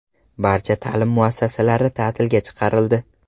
Barcha ta’lim muassasalari ta’tilga chiqarildi.